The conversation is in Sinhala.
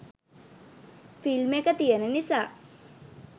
ෆිල්ම් එක තියෙන නිසා